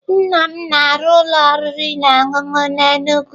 Nnam m na-arụ ụlọ oriri na ọṅụṅụ n'Enugwu.